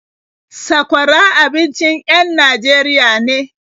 Sakwara abincin en Najeriya ne.